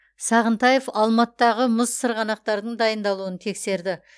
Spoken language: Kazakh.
сағынтаевалматыдағы мұз сырғанақтардың дайындалуын тексерді